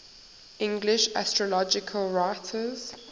english astrological writers